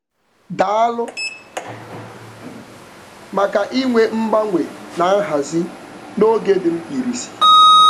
Daalụ maka inwe mgbanwe na nhazi n'oge dị mkpirisi.